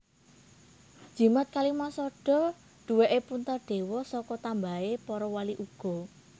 Jimat Kalimasada duwèké Puntadewa saka tambahané para wali uga